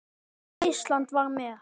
Og Ísland var með.